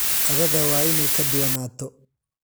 Qadada waa inay ka duwanaato.